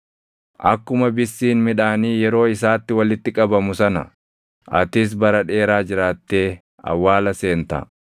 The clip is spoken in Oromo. Akkuma bissiin midhaanii yeroo isaatti walitti qabamu sana, atis bara dheeraa jiraattee awwaala seenta.